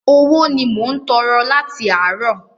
Owó ni mò ń tọrọ láti àárọ̀.